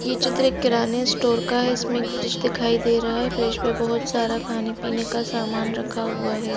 ये चित्र एक किराने स्टोर का है इसमें एक फ्रिज दिखाई दे रहा है फ्रीज पे बहुत सारा खाने-पीने का सामान रखा हुआ है।